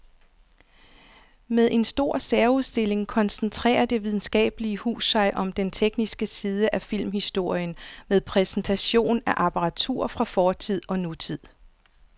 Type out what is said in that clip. Med en stor særudstilling koncentrerer det videnskabelige hus sig om den tekniske side af filmhistorien med præsentation af apparatur fra fortid og nutid.